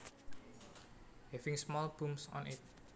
Having small bumps on it